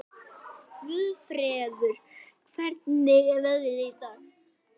Guðfreður, hvernig er veðrið í dag?